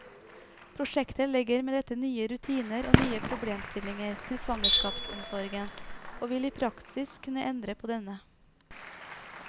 Prosjektet legger med dette nye rutiner og nye problemstillinger til svangerskapsomsorgen, og vil i praksis kunne endre på denne.